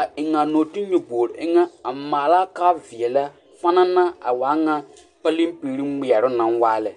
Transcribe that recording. a eŋ a nɔɔteɛ nyɔboori eŋɛ a maalaa ka veɛlɛ pananna a waa ŋa paleŋ piɡri kpeɛroŋ naŋ waa lɛ.